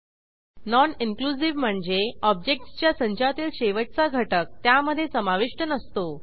non inclusive म्हणजे ऑब्जेक्टसच्या संचातील शेवटचा घटक त्यामधे समाविष्ट नसतो